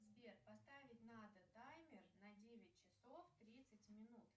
сбер поставить надо таймер на девять часов тридцать минут